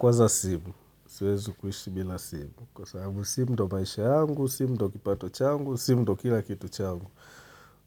Kwanza simu, siwezi kuishi bila simu, kwa sababu simu ndio maisha yangu, simu ndio kipato changu, simu ndio kila kitu changu.